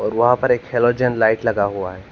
वहां पर एक हैलोजन लाइट लगा हुआ है।